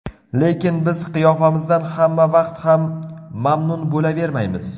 Lekin biz qiyofamizdan hamma vaqt ham mamnun bo‘lavermaymiz.